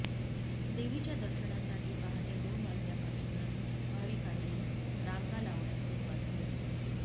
देवीच्या दर्शनासाठी पहाटे दोन वाजल्यापासूनच भाविकांनी रांगा लावण्यास सुरुवात केली